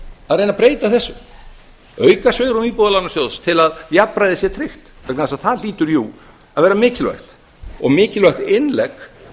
að reyna að breyta þessu auka svigrúm íbúðalánasjóðs til að jafnræði sé tryggt vegna þess að það hlýtur jú að vera mikilvægt og mikilvægt innlegg